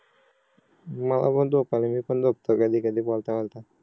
मला पण झोप आले मी पण झोपतो कधी कधी बोलता बोलता